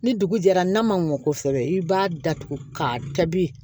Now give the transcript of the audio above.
Ni dugu jɛra n'a ma mɔ kosɛbɛ i b'a datugu ka taabi